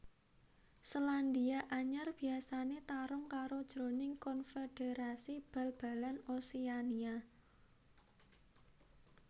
Selandia Anyar biasané tarung karo jroning Konfederasi Bal balan Oseania